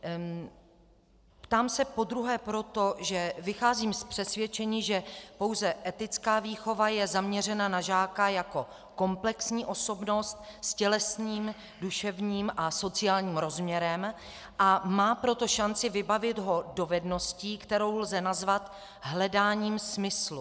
Ptám se podruhé proto, že vycházím z přesvědčení, že pouze etická výchova je zaměřena na žáka jako komplexní osobnost s tělesným, duševním a sociálním rozměrem, a má proto šanci vybavit ho dovedností, kterou lze nazvat hledáním smyslu.